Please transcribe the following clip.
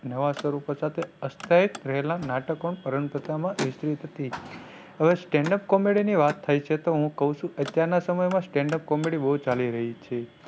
નવા સ્વરૂપો સાથે આસ્થાયિત રહેલા નાટકો પરંપરામાં વિસ્તૃત હતી. હવે stand up comedy ની વાત થાય છે તો હું કવ છું અત્યાર ના સમય માં stand up comedy બહુ ચાલી રહી છે.